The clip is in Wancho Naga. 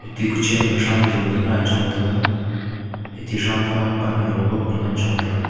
atte kuchen ma thram jojo lo ngai chong taga atte thram kha pan halo e babley ngan chong taga.